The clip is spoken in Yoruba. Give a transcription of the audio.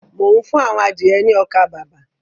Mò ń fún àwọn adìẹ ní ọkà-bàbà.